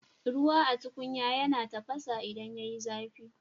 Ruwa a tukunya yana tafasa idan yayi zafi